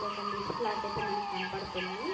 ఇదొక లిస్ట్ లాగా ఐతే మనకి కనబడుతుంది.